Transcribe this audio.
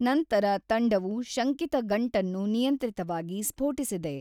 ನಂತರ ತಂಡವು ಶಂಕಿತ ಗಂಟನ್ನು ನಿಯಂತ್ರಿತವಾಗಿ ಸ್ಫೋಟಿಸಿದೆ.